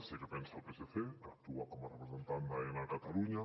sé què pensa el psc que actua com a representant d’aena a catalunya